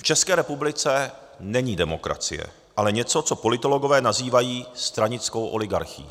V České republice není demokracie, ale něco co politologové nazývají stranickou oligarchií.